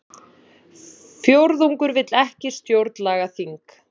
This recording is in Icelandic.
Fjórðungur vill ekki stjórnlagaþing